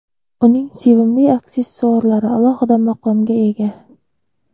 Uning sevimli aksessuarlari alohida maqomga ega.